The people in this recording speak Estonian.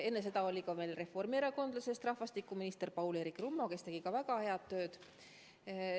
Enne seda oli reformierakondlasest rahvastikuminister Paul-Eerik Rummo, kes tegi ka väga head tööd.